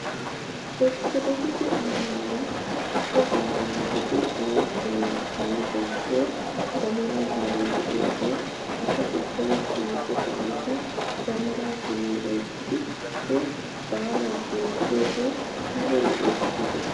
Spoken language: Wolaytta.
Ortodookise ammanuwaa wogaadan eti layttan layttan bonchchiyoo damaraa baalay de'iyaagaa asay ubbay shiiqettosan he damaraa taman oyttidi he baalaa bonchchiyoogee ayba lo'es giidetii?